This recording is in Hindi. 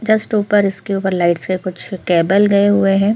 जस्ट ऊपर इसके ऊपर लाइट्स के कुछ कैबल गए हुए है।